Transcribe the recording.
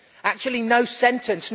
Actually no sentence